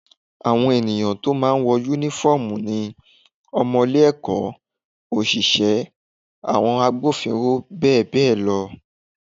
Àwọn èyàn tó máa ń wọ Únífọ́ọ̀mù ni :ọmọ ilé-ẹ̀kọ́, òṣìṣẹ́, àwọn agbófinró bẹ́ẹ̀ bẹ́ẹ̀ lọ